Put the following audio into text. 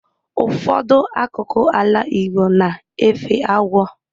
Ụfọdụ akụkụ ala igbo na-efe agwọ